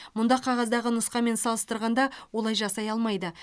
мұнда қағаздағы нұсқамен салыстырғанда олай жасай алмайды